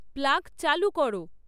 plug চালু করো